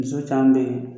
Muso caman bɛ yen